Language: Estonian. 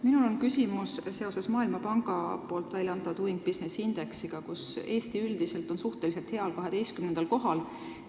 Minul on küsimus seoses Maailmapanga uuringu "Doing Business" indeksiga, mille järgi Eesti on suhteliselt heal, 12. kohal.